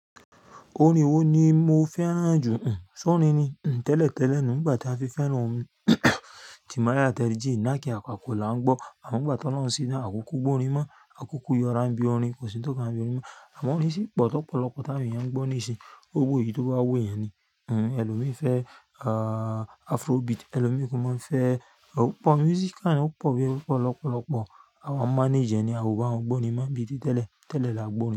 Orin wó ni mo fẹ́ràn jù. Ṣọ́rin ni. Tẹ́lẹ̀ tẹ́lẹ̀ nu, nígbà tí a fi fẹ́ràn orin Timaya, Terrie J, Naaki, àpàkọ là ń gbọ́. Àmọ́ ìgbàtí olóhun síni, àkúkó gborin mọ́, àkúkó yọrá ń bí orin, kò sí ní tó kan wà bí orin mọ́. Àmọ́ orin ṣí pọ̀ tọ́pọ̀ lọ́pọ̀lọpọ̀ tà àwọn èyàn ń gbọ́ nísìnyí. Owó yi tó bá wó ẹyan ni. Èlòmí fẹ́ afrobeat, èlòmí kò mọ́ ń fẹ́ ó pọ̀, music à yí ì kò pọ̀ bí í kò pọ̀ lọ́pọ̀lọpọ̀. Àwọn manager ni àró bá wọ́n gbó orin, máa ń bí í ti tẹ́lẹ̀, tẹ́lẹ̀ là á gbọ́ orin.